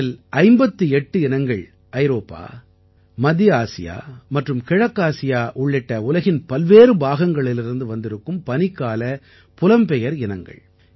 இவற்றில் 58 இனங்கள் ஐரோப்பா மத்திய ஆசியா மற்றும் கிழக்காசியா உள்ளிட்ட உலகின் பல்வேறு பாகங்களிலிருந்து வந்திருக்கும் பனிக்கால புலம்பெயர் இனங்கள்